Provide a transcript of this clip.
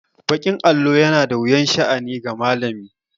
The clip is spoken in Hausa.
Baƙin allo yana da wuyan sha'ani ga malami.